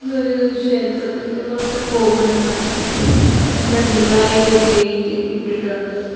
ഇതൊരു ക്ഷേത്രത്തിന്റെ പുറത്ത് ഒരു ഗോപുരമാണ് അതിന്റെ ഫ്രണ്ടിലായി ഒരു ഗേറ്റ് ഇട്ടിട്ടുണ്ട്.